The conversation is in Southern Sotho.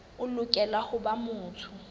o lokela ho ba motho